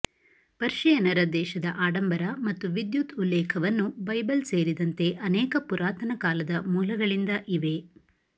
ಪರ್ಷಿಯನ್ನರ ದೇಶದ ಆಡಂಬರ ಮತ್ತು ವಿದ್ಯುತ್ ಉಲ್ಲೇಖವನ್ನು ಬೈಬಲ್ ಸೇರಿದಂತೆ ಅನೇಕ ಪುರಾತನ ಕಾಲದ ಮೂಲಗಳಿಂದ ಇವೆ